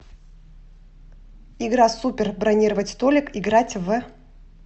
игра супер бронировать столик играть в